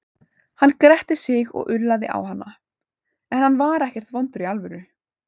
Hann gretti sig og ullaði á hana, en hann var ekkert vondur í alvöru.